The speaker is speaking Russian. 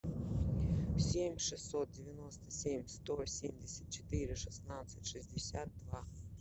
семь шестьсот девяносто семь сто семьдесят четыре шестнадцать шестьдесят два